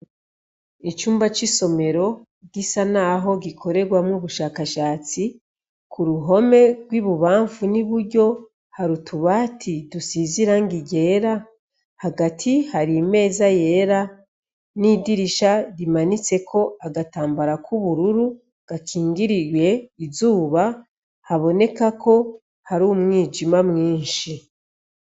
Icumba c’isomero gisa naho gikorerwamwo ubushakashatsi, kuruhome rw’ibubamfu n’iburyo hari utubati dusize irangi ryera, hagati hari imeza yera n’idirisha rimanitseko agatambara k’ubururu gakingiriye izuba haboneka ko hari umwijima mwinshi.